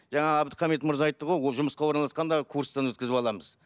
жаңа абдухамит мырза айтты ғой ол жұмысқа орналасқанда курстан өткізіп аламыз